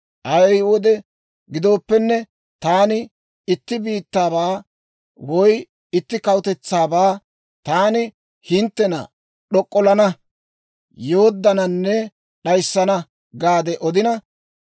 Ay wode gidooppenne, taani itti biittaabaa woy itti kawutetsaabaa, ‹Taani hinttena d'ok'ollana, yooddananne d'ayissana› gaade odina,